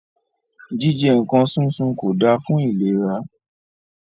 Jíjẹ nǹkan súnsun kò da fún ìlera.